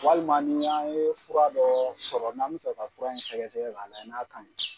Walima ni an ye fura dɔ sɔrɔ n'an bɛ fɛ ka fura in sɛgɛsɛ ka layɛ n'a ka ɲi.